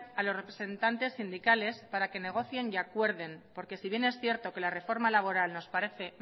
a los representantes sindicales para que negocien y acuerden porque si bien es cierto que la reforma laboral nos parece